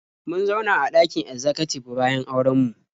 Mun zauna a ɗakin ezzakatib bayan auren mu.